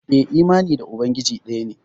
Eh imani da ubangiji daya ne.